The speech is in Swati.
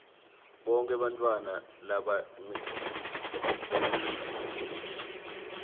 bonkhe bantfwana labancikile